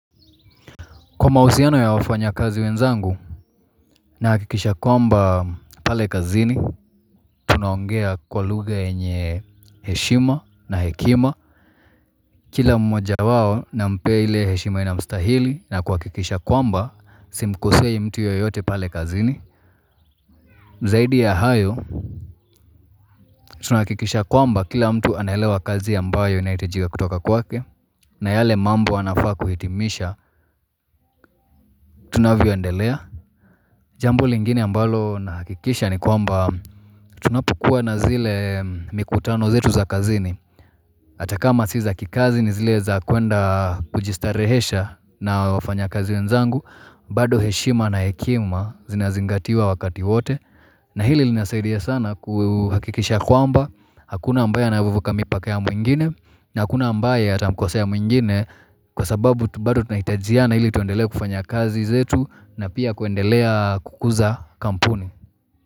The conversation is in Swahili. Kwa mahusiano ya wafanya kazi wenzangu, na hakikisha kwamba pale kazini, tunaongea kwa lugha yenye heshima na hekima. Kila mmoja wao na mpee heshima inamstahili na kwa hakikisha kwamba, simkosei mtu yoyote pale kazini. Zaidi ya hayo, tunahukikisha kwamba kila mtu anelewa kazi ambayo yanayohitajika kutoka kwake, na yale mambo anafaa kuhitimisha, tunavyoendelea. Jambo lingine ambalo na hakikisha ni kwamba tunapokua na zile mikutano zetu za kazini hata kama si za kikazi ni zile za kwenda kujistarehesha na wafanya kazi wenzangu bado heshima na hekima zinazingatiwa wakati wote na hili linasaidia sana kuhakikisha kwamba Hakuna ambaye na vuvuka mipake ya mwingine na hakuna ambaya atamukosea ya mwingine Kwa sababu bado tunahitajia na ili tuendelea kufanya kazi zetu na pia kuendelea kukuza kampuni.